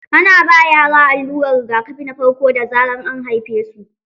Ana ba yara allurar rigakafi na farko da zarar an haifesu.